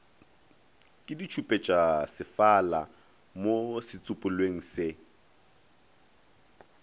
ke ditšhupetšasefala mo setsopolweng se